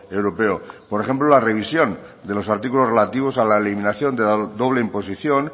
europeo por ejemplo la revisión de los artículos relativos a la eliminación de la doble imposición